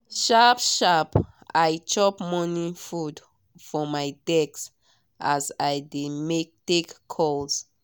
sharp sharp i chop morning food for my desk as i dey take calls